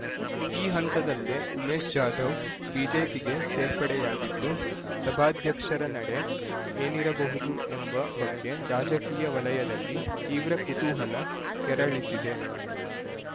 ಈ ಹಂತದಲ್ಲೇ ಉಮೇಶ್ ಜಾಧವ್ ಬಿಜೆಪಿಗೆ ಸೇರ್ಪಡೆಯಾಗಿದ್ದು ಸಭಾಧ್ಯಕ್ಷರ ನಡೆ ಏನಿರಬಹುದು ಎಂಬ ಬಗ್ಗೆ ರಾಜಕೀಯ ವಲಯದಲ್ಲಿ ತೀವ್ರ ಕುತೂಹಲ ಕೆರಳಿಸಿದೆ